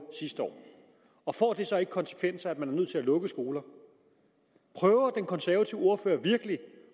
sidste år og får det så ikke konsekvenser at man er nødt til at lukke skoler prøver den konservative ordfører virkelig